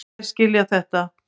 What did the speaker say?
En þeir skilja þetta.